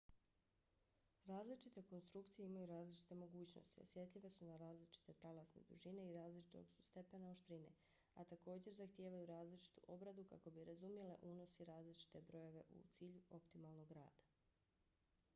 različite konstrukcije imaju različite mogućnosti osjetljive su na različite talasne dužine i različitog su stepena oštrine a također zahtijevaju različitu obradu kako bi razumjele unos i različite brojeve u cilju optimalnog rada